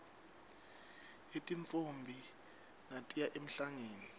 yetintfombi natiya emhlangeni